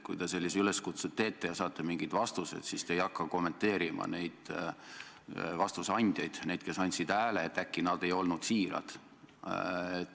Kui te sellise üleskutse teete ja saate mingid vastused, siis te ei tohiks hakata kommenteerima oma hääle andnud vastuse andjaid – et äkki nad ei olnud siirad.